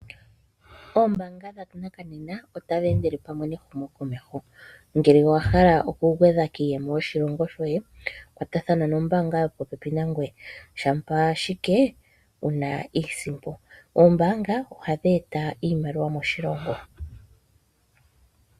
Oombaanga dhanakanena otadhi endele pamwe nehumokomeho ngele owa hala okugwedha kiiyemo yoshilongo shoye kwatathana nombaanga yopopepi nangoye shampa ashike wu na iisimpo. Oombaanga ohadhi eta iimaliwa moshilongo.